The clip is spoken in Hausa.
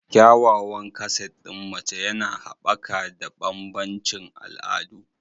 Kyawawan kaset ɗin mace yana haɓaka da bambancin al'adu.